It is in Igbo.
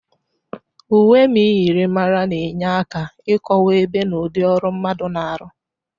Uwe myịrịmara na-enye aka ịkọwa ebe na ụdị ọrụ mmadụ na-arụ.